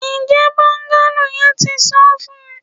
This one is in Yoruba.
Njẹ bungalow yẹn ti san fun?